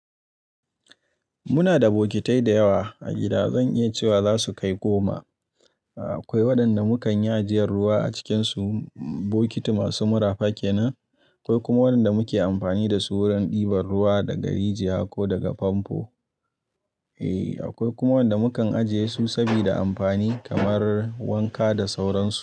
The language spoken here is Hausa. Muna da bokitai da yawa a gida. Zan iya cewa za su kai goma. Akwai waɗanda mukan yi ajiyar ruwa a cikinsu, bokiti masu mura fakenan. Akwai kuma waɗanda muke amfani da su wurin ɗiban ruwa daga rijiya ko daga famfo. E, akwai kuma waɗanda mukan ajiye su sabida amfani kamar wanka da sauransu.